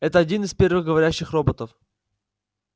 это один из первых говорящих роботов